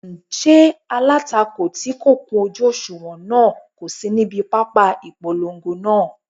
Ṣé alátakò tí kò kún ojú òṣùwọ̀n náà kò sí níbi pápá ìpolongo náà?